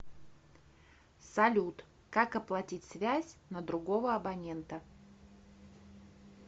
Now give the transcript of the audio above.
салют как оплатить связь на другого абонента